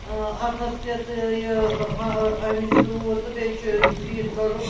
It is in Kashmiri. آاَتھس کٮ۪تھ یہِ اہا لوٗر تہٕ بیٚیہِ چُھ گریٖن .کلرُک